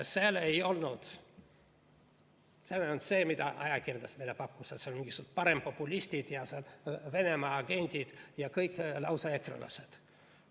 Seal ei olnud see, mida ajakirjandus meile pakkus, et seal on mingisugused parempopulistid ja Venemaa agendid ja kõik lausa ekrelased.